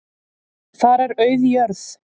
Þar er auð jörð.